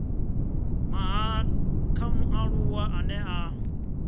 mahala kha mualuwa ane a